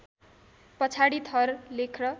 पछाडी थर लेख्न